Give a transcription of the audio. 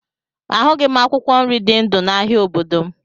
A hụghị m akwụkwọ nri dị ndụ n'ahia obodo m